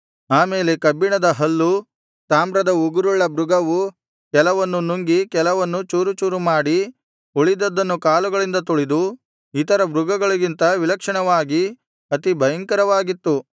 ಆ ಮೇಲೆ ಕಬ್ಬಿಣದ ಹಲ್ಲು ತಾಮ್ರದ ಉಗುರುಳ್ಳ ಮೃಗವು ಕೆಲವನ್ನು ನುಂಗಿ ಕೆಲವನ್ನು ಚೂರುಚೂರು ಮಾಡಿ ಉಳಿದದ್ದನ್ನು ಕಾಲುಗಳಿಂದ ತುಳಿದು ಇತರ ಮೃಗಗಳಿಗಿಂತ ವಿಲಕ್ಷಣವಾಗಿ ಅತಿ ಭಯಂಕರವಾಗಿತ್ತು